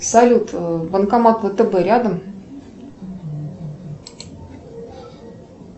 салют банкомат втб рядом